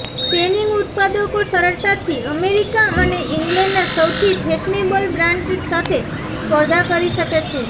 Spanish ઉત્પાદકો સરળતાથી America અને ઈંગ્લેન્ડના સૌથી ફેશનેબલ બ્રાન્ડ્સ સાથે સ્પર્ધા કરી શકે છે